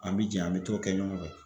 An bi jɛ an bi t'o kɛ ɲɔgɔn fɛ.